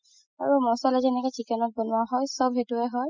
আৰু মচলা যেনেকে chicken ত বনোৱা হয় চব সেইটোয়ে হয়